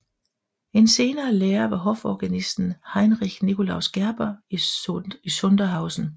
En senere lærer var hoforganisten Heinrich Nicolaus Gerber i Sondershausen